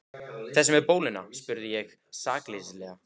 Þessi með bóluna? spurði ég sakleysislega.